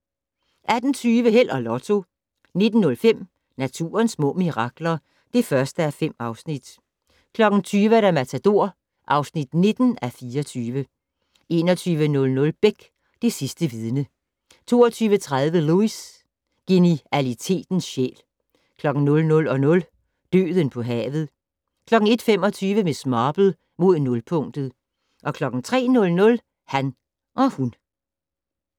18:20: Held og Lotto 19:05: Naturens små mirakler (1:5) 20:00: Matador (19:24) 21:00: Beck - Det sidste vidne 22:30: Lewis: Genialitetens sjæl 00:00: Døden på havet 01:25: Miss Marple: Mod nulpunktet 03:00: Han og hun